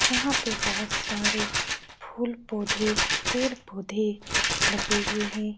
यहाँ पे बोहोत सारे फूल पौधे पेड़-पौधे लगे हुए हैं।